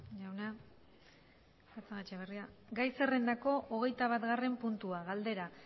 jauna gai zerrendako hogeitabagarren puntua galdera